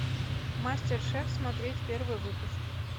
мастер шеф смотреть первый выпуск